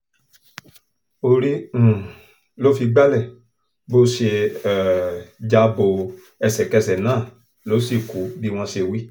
orí um ló fi gbalẹ̀ bó ṣe um já bo ẹsẹ̀kẹsẹ̀ náà ló sì kù bí wọ́n ṣe wí